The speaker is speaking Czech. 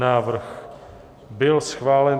Návrh byl schválen.